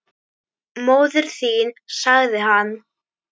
Móðir þín sagði hann.